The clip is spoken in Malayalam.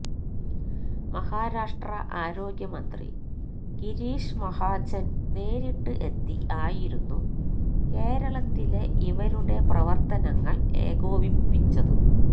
മഹാരാഷ്ട്ര ആരോഗ്യ മന്ത്രി ഗിരീഷ് മഹാജൻ നേരിട്ട് എത്തി ആയിരുന്നു കേരളത്തിലെ ഇവരുടെ പ്രവർത്തനങ്ങൾ ഏകോപിച്ചത്